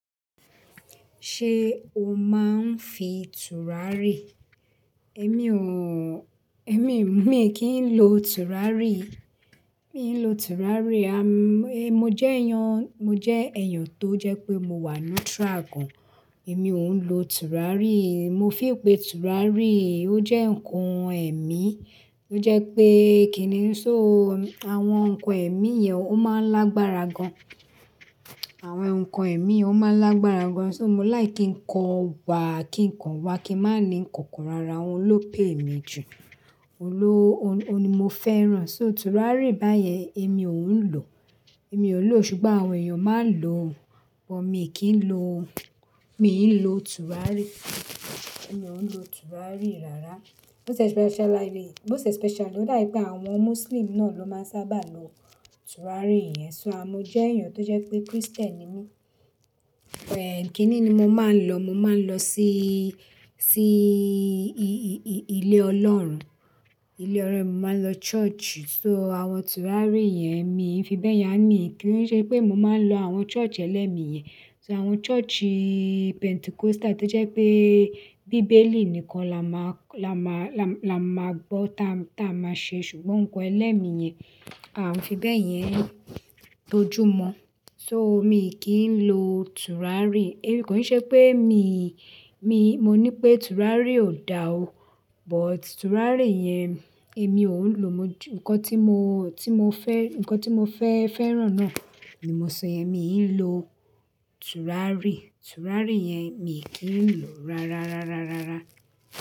Ṣé o máa ń fi tùràrí? Èmi ò, èmi mi kì í lo tùràrí. Mi ò ń lo tùràrí. A, mo jẹ́ èèyàn, mo jẹ́ èèyàn tó jẹ́ pé mo wà neutral gan. Èmi ò ń lo tùràrí. Mo feel pè tùràrí, ó jẹ́ ǹkan ẹ̀mí tó jẹ́ pé kíni só, àwọn ǹkan ẹ̀mí yẹn ó máa ń lágbára gan. Àwọn ǹkan ẹ̀mí ó máa ń lágbára gan. So mo like ki ń kọ wa, kí ń kọ wa, kí n má ní ǹkankan rara. Ohun ló pè mí jù, òun ló, òun ni mo fẹ́ràn. So tùràrí báyẹn èmi ò ń lò. Èmi ò lò ó ṣùgbọ́n àwọn èèyàn máa ń lò ó. But mi kì í lo, mi ò ń lo tùràrí. Èmi ò ń lo tùràrí rárá. Bó ṣe special lively, most expecially ó dà pé àwọn Muslim náà ló máa ń sábà lo tùràrí yẹn. So à mo jẹ́ èèyàn tó jẹ́ pé Christian ni mí. Kíni ni mo máa ń lọ? Mo máa ń lọ sí, sí ilé Ọlọ́run. Ilé Ọlọ́run, mo máa ń lọ church. So àwọn tùràrí yẹn mi ń fi bẹ́yẹn hàn mí kí wọ́n ṣe pé mo máa ń lọ àwọn church ẹlẹ́mi yẹn. So àwọn church Pentecostal tó jẹ́ pé bíbélì nìkan là máà, là máà, là máà gbọ́ tá, tá a máa ṣe. Ṣùgbọ́n ǹkan ẹlẹ́mi yẹn, à ń fi bẹ́yẹn tójú mọ́. So mi kì í lo tùràrí. Èmi kò ṣe pé mi, mi, mo ní pé tùràrí ò dá o. But tùràrí yẹn èmi ò ń lò, ǹkan ti mo Mo fẹ, ǹkan tí mo, tí mo fẹ́, ǹkan tí mo fẹ́ fẹ́ràn náà ni mo sọ yẹn. Mi ò ń lo tùràrí. Tùràrí yẹn mi kì í lò rárá, rárá, rárá.